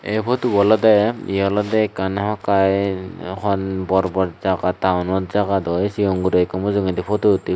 eh photobo olode yea olode ekkan hamakkiy hon bor bor jaga town ot jaga dow cigon guro ekku mujungedi photo uttey.